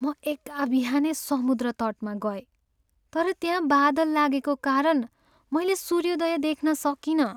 म एकाबिहानै समुद्र तटमा गएँ, तर त्यहाँ बादल लागेको कारण मैले सूर्योदय देख्न सकिनँ।